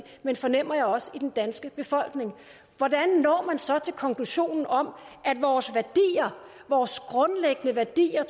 men fornemmer jeg også i den danske befolkning hvordan når man så til konklusionen om at vores værdier vores grundlæggende værdier